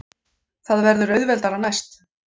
Það verður auðveldara næst.